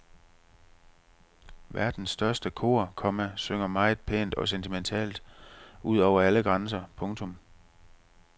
Verdens største kor, komma synger meget pænt og sentimentalt ud over alle grænser. punktum